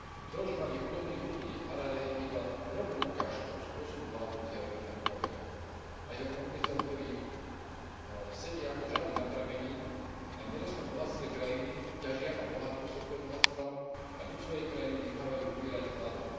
Deložovanie chudobných ľudí v Harare je iba drobnou ukážkou spôsobu vládnutia Roberta Mugabeho a jeho komplicov, ktorí sedia ako žaby na prameni na nerastnom bohatstve krajiny, ťažia a bohatnú z tohto bohatstva a ľud svojej krajiny nechávajú umierať hladom.